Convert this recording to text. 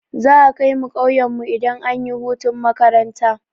Za'a kaimu ƙauyen mu idan anyi hutun makaranta.